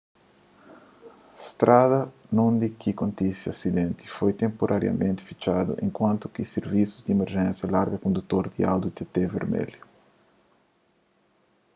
strada undi ki kontise asidenti foi tenpurariamenti fitxadu enkuantu ki sirvisus di imerjénsia larga kondutor di audi tt vermelhu